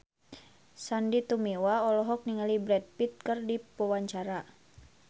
Sandy Tumiwa olohok ningali Brad Pitt keur diwawancara